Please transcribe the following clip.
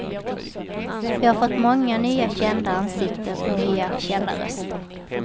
Vi har fått många nya kända ansikten och nya kända röster.